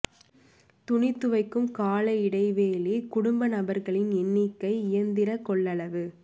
துணி துவைக்கும் கால இடைவெளி குடும்பநபர்களின் எண்ணிக்கை இயந்திரக் கொள்ளளவு